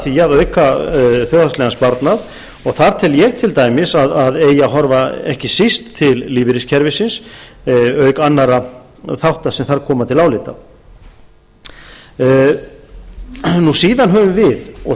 því að auka þjóðhagslegan sparnað og þar tel ég til dæmis að eigi að horfa ekki síst til lífeyriskerfisins auk annarra þátta sem þar koma til álita síðan höfum við og